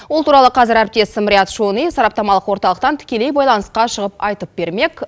ол туралы қазір әріптесім риат шони сараптамалық орталықтан тікелей байланысқа шығып айтып бермек